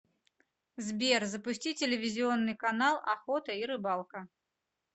сбер запусти телевизионный канал охота и рыбалка